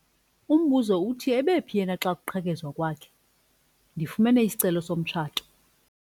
Umbuzo uthi ebephi yena xa kuqhekezwa kwakhe? ndifumene isicelo somtshato